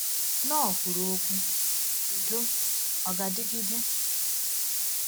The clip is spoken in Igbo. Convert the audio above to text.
Knorr kwuru okwu “Udo—Ọ Ga-adịgide?”